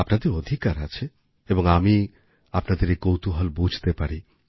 আপনাদের অধিকার আছে এবং আমি আপনাদের এই কৌতুহল বুঝতে পারি